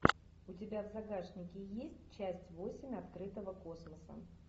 у тебя в загашнике есть часть восемь открытого космоса